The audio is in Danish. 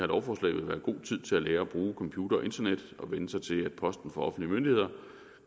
lovforslag vil være god tid til at lære at bruge computer og internet og vænne sig til at posten fra offentlige myndigheder